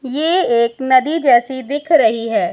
ये एक नदी जैसी दिख रही है।